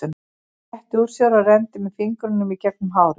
Hann rétti úr sér og renndi með fingrunum í gegnum hárið.